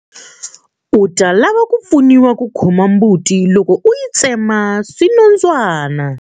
U ta lava ku pfuniwa ku khoma mbuti loko u yi tsemeta swinondzwana.